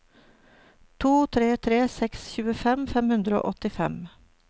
to tre tre seks tjuefem fem hundre og åttifem